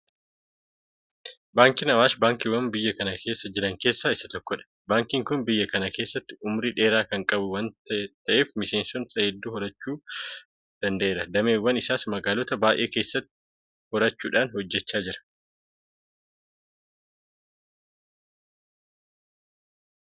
Baankiin Awaash Baankiiwwan biyya kana keessa jiran keessaa isa tokkodha. Baankiin kun biyya kana keessatti ummurii dheeraa kan qabu waanta ta'eef miseensa hedduu horachuu danda'eera. Dameewwan isaas magaalota baay'ee keessatti horachuudhaan hojjechaa jira.